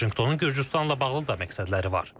Vaşinqtonun Gürcüstanla bağlı da məqsədləri var.